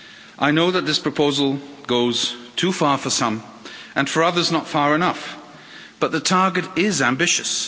I know that this proposal goes too far for some, and for others not far enough, but the target is ambitious.